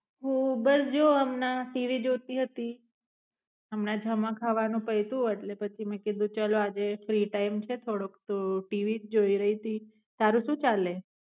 હુ બસ જોહ હમના ટીવી જોતી હતી, હમના જમવા ખાવાનું પાયતુ એટલે પછી મેં કીધું કે ચલો આજે ફ્રી ટાઇમ છે થાડોક તો ટીવી જોઇ રહી તી, તારે સુ ચલે?